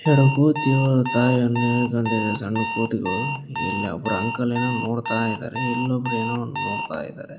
ಈ ಕಡೆ ಕೂತಿ ಅವರ ತಾಯನ್ನ ಹಿಡ್ಕೊಂಡಿವೆ ಸಣ್ಣ ಕೋತಿಗಳು ಇಲ್ಲಿ ಒಬ್ರು ಅಂಕಲ್ ಏನೊ ನೋಡ್ತಾ ಇದ್ದಾರೆ ಇಲ್ಲೊಬ್ರು ಏನೊ ನೋಡ್ತಾ ಇದರೆ.